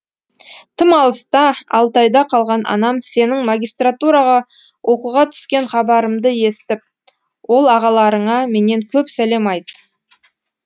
тым алыста алтайда қалған анам сенің магистратураға оқуға түскен хабарымды естіп ол ағаларыңа менен көп сәлем айт